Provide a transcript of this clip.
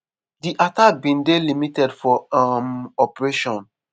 di attack bin dey limited for um operation